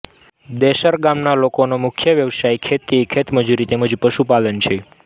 દૈસર ગામના લોકોનો મુખ્ય વ્યવસાય ખેતી ખેતમજૂરી તેમ જ પશુપાલન છે